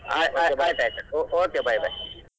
ಹಾ ಹಾ ಆಯಿತ್ ಆಯಿತ್ okay bye bye .